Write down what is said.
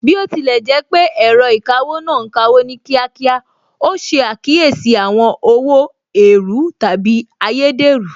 Bí ó tilẹ̀ jẹ́ pé ẹ̀rọ ìkawó náà ń kawó ní kíákíá, ó ṣe àkíyèsí àwọn owó èèrú/ ayédèrú